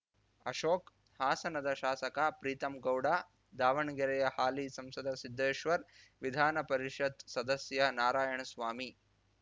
ಅಶೋಕ್ ಹಾಸನದ ಶಾಸಕ ಪ್ರೀತಂಗೌಡ ದಾವಣಗೆರೆಯ ಹಾಲಿ ಸಂಸದ ಸಿದ್ದೇಶ್ವರ್ ವಿಧಾನ ಪರಿಷತ್ ಸದಸ್ಯ ನಾರಾಯಣಸ್ವಾಮಿ